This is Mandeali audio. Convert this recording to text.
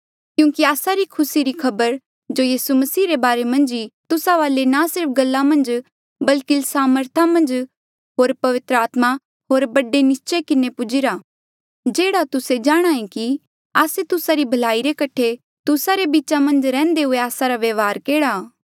क्यूंकि आस्सा री खुसी री खबर जो यीसू मसीह रे बारे मन्झ ई तुस्सा वाले ना सिर्फ गल्ला मन्झ बल्की सामर्थ होर पवित्र आत्मा होर बड़े निस्चय किन्हें पुजीरा जेह्ड़ा तुस्से जाणहां ऐें कि आस्से तुस्सा री भलाई रे कठे तुस्सा रे बीचा मन्झ रैहन्दे हुए आस्सा रा व्यवहार केहड़ा था